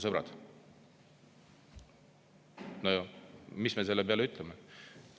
Sõbrad, mis me selle peale ütlema?